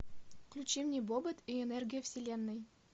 включи мне бобот и энергия вселенной